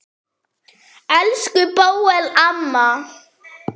Elsku Bóel amma.